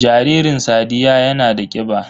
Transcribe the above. Jaririn sadiyya yana da kiba